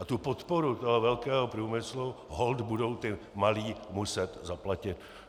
A tu podporu toho velkého průmyslu holt budou ti malí muset zaplatit.